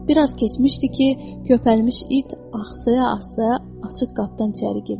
Bir az keçmişdi ki, köpəlmiş it ahsaya-ahsaya açıq qapıdan içəri girdi.